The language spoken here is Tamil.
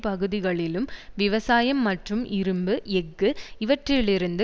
பகுதிகளிலும் விவசாயம் மற்றும் இரும்பு எஃகு இவற்றிலிருந்து